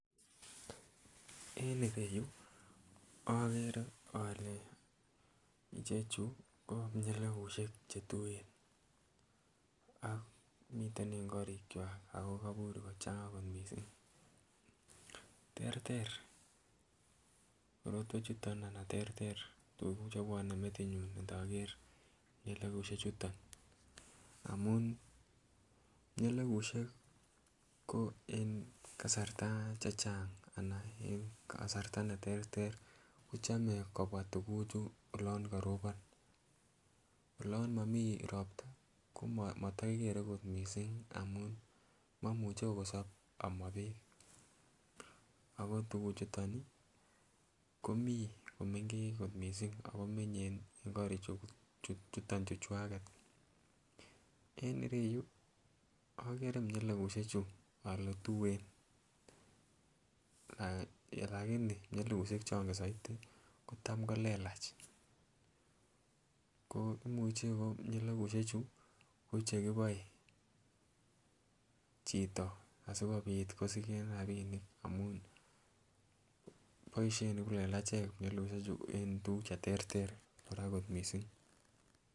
Eng ereyu akere ale chechu ko nyelebushek chetuen ak miten eng korichwa ako kapur kochang'a kot mising. Terter korotwechuton anan terter tuguk chebwone metinyu nkaker nyelebushek amun nyelebushek ko en kasarta chechang anan en kasarta neterter kochome kobwone tukuhu olon karopon, olonmimi ropta ko motokikere mising amun mamuchi kosop ama beek ako tukuchuton komi komenkech mising akominye eng korichuton chukwaket. En ereyu akere nyelebushechu ale tuen lakini nyelebushek chongen saiti ko tam kolelach ko muchi ko nyelebushechu ko chekiboe chito asikobit kosiken rapinik amun en tuguk cheterter kora kot mising.